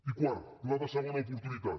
i quart pla de segona oportunitat